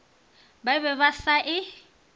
ba be ba sa e